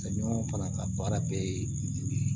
Ka ɲɔgɔn fana ka baara bɛɛ ye